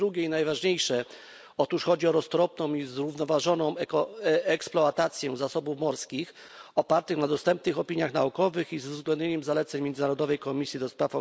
Po drugie i najważniejsze otóż chodzi o roztropną i zrównoważoną eksploatację zasobów morskich opartą na dostępnych opiniach naukowych i z uwzględnieniem zaleceń Międzynarodowej Komisji ds.